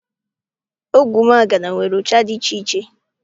Ogwumagana nwere ụcha dị iche iche.